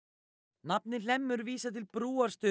nafnið Hlemmur vísar til